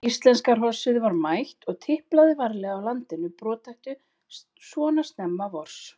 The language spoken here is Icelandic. Íslenska hrossið var mætt og tiplaði varlega á landinu brothættu svona snemma vors.